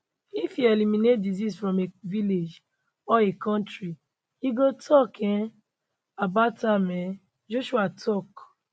if e eliminate disease from a village or a kontri e go tok um about am um joshua tok